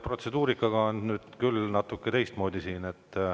Protseduurika oli siin nüüd küll natuke teistmoodi.